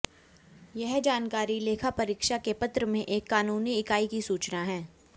यह जानकारी लेखा परीक्षा के पत्र में एक कानूनी इकाई की सूचना है